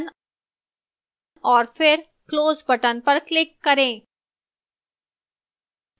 निचले भाग पर apply button और फिर close button पर click करें